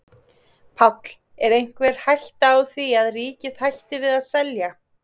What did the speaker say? Páll: Er einhver hætta á því að ríkið hætti við að selja?